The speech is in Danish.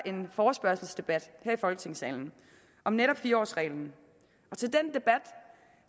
en forespørgselsdebat her i folketingssalen om netop fire årsreglen